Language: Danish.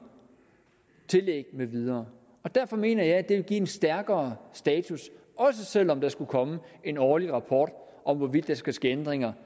tillæg med videre og derfor mener jeg at det vil give en stærkere status også selv om der skulle komme en årlig rapport om hvorvidt der skal ske ændringer